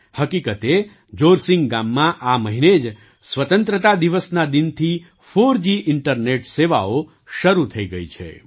હકીકતે જોરસિંગ ગામમાં આ મહિને જ સ્વતંત્રતા દિવસનાં દિનથીફોરજી ઇન્ટરનેટ સેવાઓ શરૂ થઈ ગઈ છે